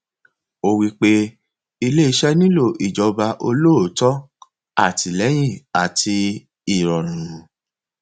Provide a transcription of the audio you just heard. ó wí pé ilé wí pé ilé iṣẹ nílò ìjọba olóòótọ àtìlẹyìn àti ìrọrùn